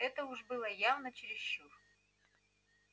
это уж было явно чересчур